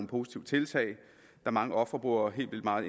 positive tiltag da mange ofre bruger helt vildt meget